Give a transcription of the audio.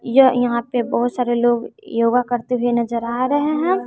यह यहां पे बहुत सारे लोग योगा करते हुए नजर आ रहे हैं।